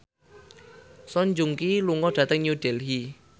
Song Joong Ki lunga dhateng New Delhi